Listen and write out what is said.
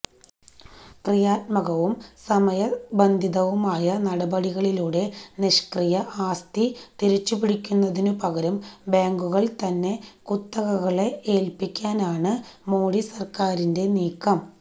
ക്രിയാത്മകവും സമയബന്ധിതവുമായ നടപടികളിലൂടെ നിഷ്ക്രിയ ആസ്തി തിരിച്ചുപിടിക്കുന്നതിനുപകരം ബാങ്കുകള്തന്നെ കുത്തകകളെ ഏല്പ്പിക്കാനാണ് മോഡി സര്ക്കാരിന്റെ നീക്കം